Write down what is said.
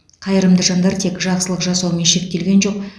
қайырымды жандар тек жақсылық жасаумен шектелген жоқ